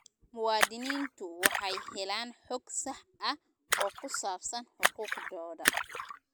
Muwaadiniintu waxay helaan xog sax ah oo ku saabsan xuquuqdooda.